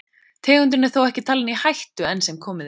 Tegundin er þó ekki talin í hættu enn sem komið er.